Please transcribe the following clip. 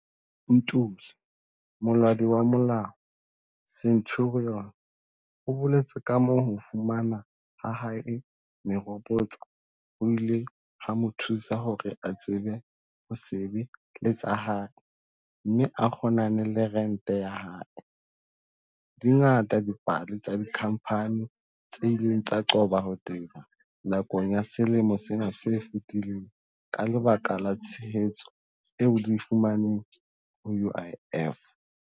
Ntuli, molaodi wa molao, Centurion, o boletse kamoo ho fumana ha hae meropotso ho ileng ha mo thusa hore a tsebe ho sebe-letsa hae mme a kgonane le rente ya hae. Di ngata dipale tsa dikhampani tse ileng tsa qoba ho teba nakong ya selemo sena se fetileng ka lebaka la tshehetso eo di e fumaneng ho UIF.